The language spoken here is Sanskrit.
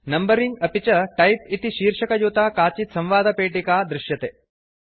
नंबरिंग अपि च टाइप इति शीर्षकयुता काचित् संवादपेटिका दृश्यते